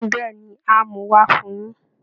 Bẹ́ẹ̀ ni, á mú un wá Fun yín